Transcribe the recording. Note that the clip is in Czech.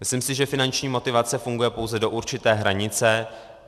Myslím si, že finanční motivace funguje pouze do určité hranice.